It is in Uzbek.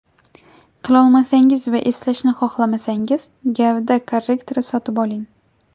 Qilolmasangiz va eslashni xohlamasangiz gavda korrektori sotib oling.